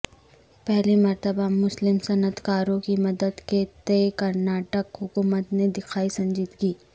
پہلی مرتبہ مسلم صنعتکاورں کی مدد کے تئیں کرناٹک حکومت نے دکھائی سنجیدگی